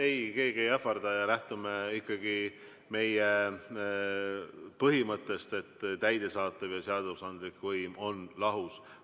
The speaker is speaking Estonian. Ei, keegi ei ähvarda ja lähtume ikkagi meie põhimõttest, et täidesaatev ja seadusandlik võim on lahus.